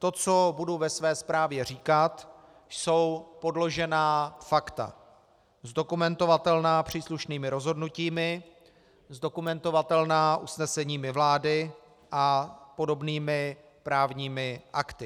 To, co budu ve své zprávě říkat, jsou podložená fakta, zdokumentovatelná příslušnými rozhodnutími, zdokumentovatelná usneseními vlády a podobnými právními akty.